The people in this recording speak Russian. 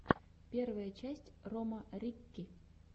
первая часть рома рикки